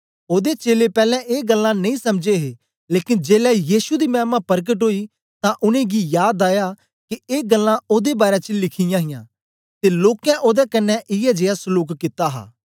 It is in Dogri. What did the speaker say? ओदे चेलें पैलैं ए गल्लां नेई समझे हे लेकन जेलै यीशु दी मैमा परकट ओई तां उनेंगी याद आया के ए गल्लां ओदे बारै च लिखी यांहां ते लोकें ओदे कन्ने इयै जीया सलूक कित्ता हा